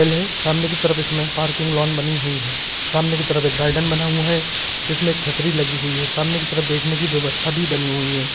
सामने की तरफ इसमें पार्किंग लॉन बनी हुई हैं सामने की तरफ एक बना हुआ है जिसमे एक छत्री लगी हुई है सामने की तरफ बैठने की व्यवस्ता भी बनी हुई है।